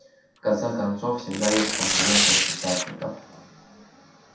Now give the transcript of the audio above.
в конце концов всегда есть конкуренты с печатников